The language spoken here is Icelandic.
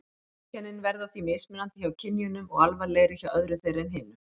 Einkennin verða því mismunandi hjá kynjunum og alvarlegri hjá öðru þeirra en hinu.